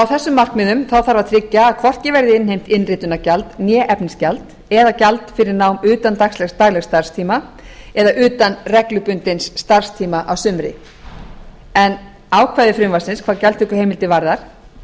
þessum markmiðum þarf að tryggja að hvorki verði innheimt innritunargjald né efnisgjald eða gjald fyrir nám utan daglegs starfstíma eða utan reglubundins starfstíma að sumri en ákvæði frumvarpsins hvað gjaldtökuheimildir varðar